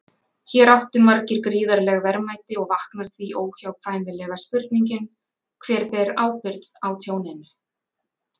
Hér áttu margir gríðarleg verðmæti og vaknar því óhjákvæmilega spurningin: Hver ber ábyrgð á tjóninu?